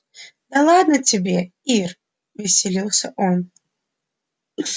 да ладно тебе ир веселился он